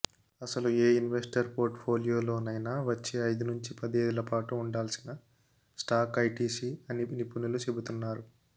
అసలు ఏ ఇన్వెస్టర్ పోర్ట్ ఫోలియోలోనైనా వచ్చే ఐదు నుంచి పదేళ్లపాటు ఉండాల్సిన స్టాక్ ఐటీసీ అని నిపుణులు చెబ్తున్నారు